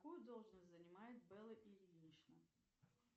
какую должность занимает белла ильинична